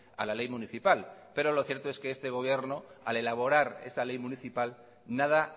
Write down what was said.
a la ley municipal pero lo cierto es que este gobierno al elaborar esa ley municipal nada